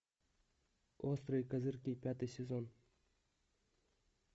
острые козырьки пятый сезон